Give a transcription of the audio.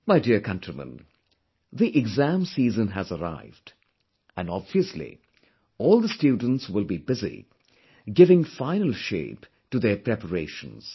My dear countrymen, the exam season has arrived, and obviously all the students will be busy giving final shape to their preparations